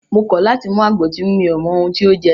Mo kọ̀ láti mú àgbo tí mi ò mọ ohun tí o jẹ́!